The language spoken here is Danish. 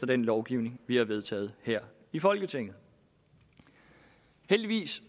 den lovgivning vi har vedtaget her i folketinget heldigvis